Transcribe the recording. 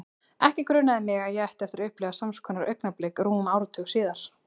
Ekki grunaði mig að ég ætti eftir að upplifa sams konar augnablik rúmum áratug síðar.